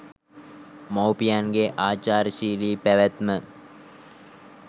මවුපියන්ගේ ආචාරශීලි පැවැත්ම